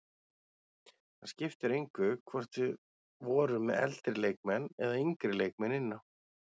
Það skipti engu hvort við vorum með eldri leikmenn eða yngri leikmenn inn á.